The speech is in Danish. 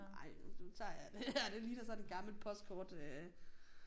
Nej nu tager jeg den her det ligner sådan et gammelt postkort øh